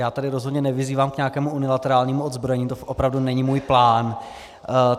Já tady rozhodně nevyzývám k nějakému unilaterálnímu odzbrojení, to opravdu není můj plán.